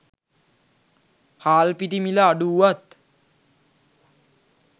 හාල් පිටි මිල අඩු වුවත්